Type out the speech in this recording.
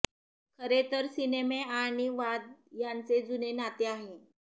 खरे तर सिनेमे आणि वाद यांचे जुने नाते आहे